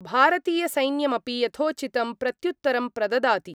भारतीयसैन्यमपि यथोचितं प्रत्युत्तरं प्रददाति।